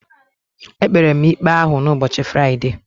E kpere m ikpe ahụ n'ubochi Friday.